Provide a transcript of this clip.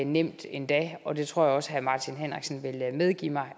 nemt endda og det tror jeg også at herre martin henriksen vil medgive mig